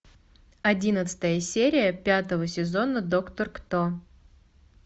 одиннадцатая серия пятого сезона доктор кто